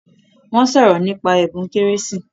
Wọ́n sọ̀rò nípa ẹbùn kérésì